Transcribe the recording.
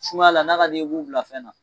Sumaya la n'a ka d'i ye i b'u bila fɛn na